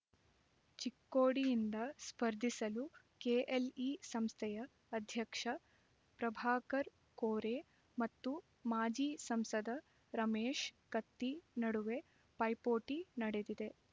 ಚಿಕ್ಕೋಡಿಯಿಂದ ಸ್ಪರ್ಧಿಸಲು ಕೆಎಲ್ಇ ಸಂಸ್ಥೆಯ ಅಧ್ಯಕ್ಷ ಪ್ರಭಾಕರ್ ಕೋರೆ ಮತ್ತು ಮಾಜಿ ಸಂಸದ ರಮೇಶ್ ಕತ್ತಿ ನಡುವೆ ಪೈಪೋಟಿ ನಡೆದಿದೆ